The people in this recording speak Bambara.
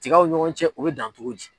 Tigaw ɲɔgɔn cɛ u bɛ dan cogo di?